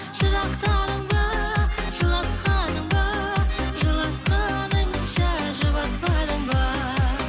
жырақтадың ба жылатқаның ба жылатқаныңша жұбатпадың ба